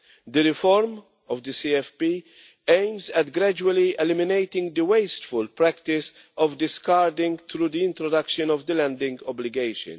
The reform of the CFP aims at gradually eliminating the wasteful practice of discards through the introduction of the landing obligation.